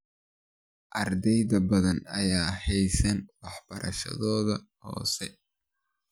Arday badan ayaan dhameysan waxbarashadooda hoose.